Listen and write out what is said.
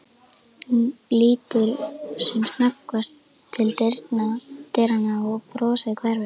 Hún lítur sem snöggvast til dyranna, brosið hverfur.